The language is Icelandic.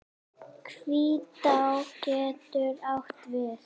Hvítá getur átt við